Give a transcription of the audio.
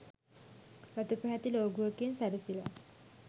රතු පැහැති ලෝගුවකින් සැරසිලා